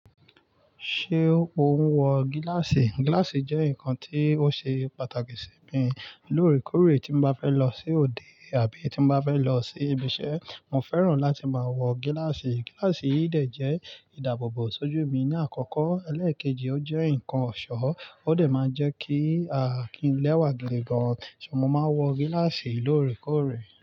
Ṣé o ń wọ gíláàsì? Gíláàsì jẹ́ nǹkan tí ó ṣe pàtàkì sí mi lóòrèkóòrè tí mo bá fẹ́ lọ sí òde àbí tí n bá fẹ́ lọ sí ibiṣẹ́. Mo fẹ́ràn láti máa wọ gíláàsì. Gíláàsì yìí dẹ̀ jẹ́ ìdáàbòbò sójú mi ní àkọ́kọ́, elẹ́ẹ̀kejì ó jẹ́ nǹkan ọ̀ṣọ́, ó dẹ̀ máa ń jẹ kí kí n lẹ́wà gidi gan. Mo máa n wọ gíláàsì lóòrèkóòrè.